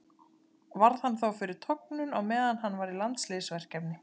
Varð hann þá fyrir tognun á meðan hann var í landsliðsverkefni.